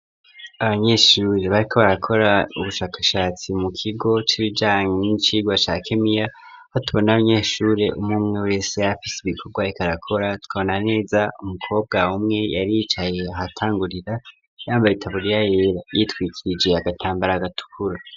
Abanyeshuri bariko barakora ubushakashatsi mu kigo c'ibijanye n'icirwa ca kemiya .Ho tubona abanyeshuri umumwe wese yafise ibikorwa rikarakora twabonaneza umukobwa umwe yari yicaye atangurira yambaye taburiya yera yitwikijiye agatambara agatukuru.